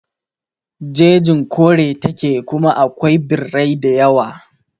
Jejin kore ta ke kuma da akwai birrai da yawa